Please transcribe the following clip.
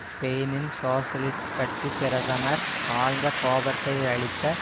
ஸ்பெயினின் சோசியலிஸ்ட் கட்சி பிரதமர் ஆழ்ந்த கோபத்தையளித்த